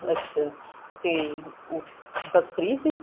ਅੱਛਾ ਤੇ ਬੱਸ free ਸੀ